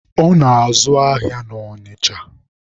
Ọ na-azụ ahịa na Ọnịcha.